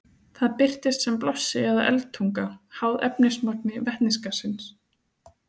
Það birtist sem blossi eða eldtunga, háð efnismagni vetnisgassins.